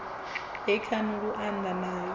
he khani lu anḓana nayo